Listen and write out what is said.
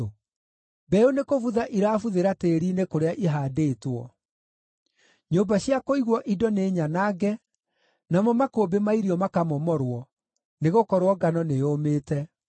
Mbeũ nĩkũbutha irabuthĩra tĩĩri-inĩ kũrĩa ihaandĩtwo. Nyũmba cia kũigwo indo nĩnyanange, namo makũmbĩ ma irio makamomorwo, nĩgũkorwo ngano nĩyũmĩte.